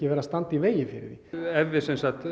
vera standa í vegi fyrir því ef við